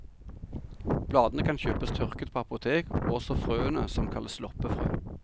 Bladene kan kjøpes tørket på apotek, og også frøene, som kalles loppefrø.